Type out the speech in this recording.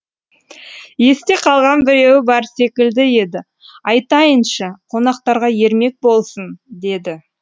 есте қалған біреуі бар секілді еді айтайыншы қонақтарға ермек болсын деді